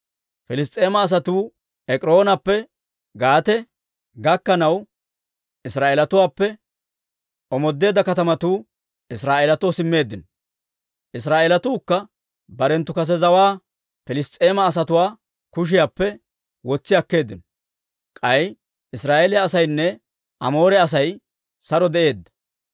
Piliss's'eema asatuu Ek'iroonappe Gaate gakkanaw Israa'eelatuwaappe omoodeedda katamatuu Israa'eelatoo simmeeddino; Israa'eelatuukka barenttu kase zawaa Piliss's'eema asatuwaa kushiyaappe wotsi akkeeddino. K'ay Israa'eeliyaa asaynne Amoore Asay saro de'eedda.